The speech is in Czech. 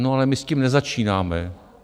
No, ale my s tím nezačínáme.